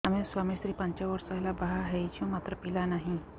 ଆମେ ସ୍ୱାମୀ ସ୍ତ୍ରୀ ପାଞ୍ଚ ବର୍ଷ ହେଲା ବାହା ହେଇଛୁ ମାତ୍ର ପିଲା ନାହିଁ